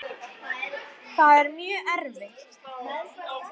Þessi þróun er hafin.